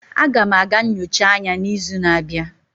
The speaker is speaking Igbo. Aga m aga nyocha anya n'izu na-abịa.